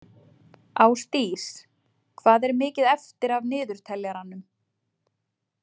Ásdís, hvað er mikið eftir af niðurteljaranum?